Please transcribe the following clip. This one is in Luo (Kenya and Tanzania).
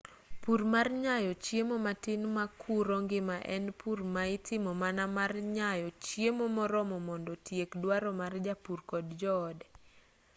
pur mar nyayo chiemo matin makuro ngima en pur ma itimo mana mar nyayo chiemo moromo mondo otiek duaro mar japur kod joode